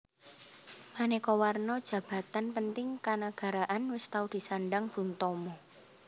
Manéka warna jabatan penting kanagaraan wis tau disandang Bung Tomo